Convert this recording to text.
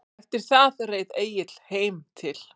Eftir það reið Egill heim til